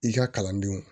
I ka kalandenw